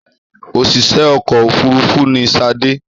Òṣìṣẹ́ ọkọ̀-òfurufú ni Ṣadé.